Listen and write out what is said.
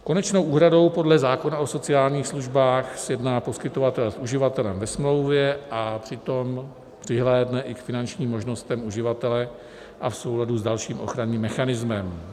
Konečnou úhradu podle zákona o sociálních službách sjedná poskytovatel s uživatelem ve smlouvě a přitom přihlédne i k finančním možnostem uživatele a v souladu s dalším ochranným mechanismem.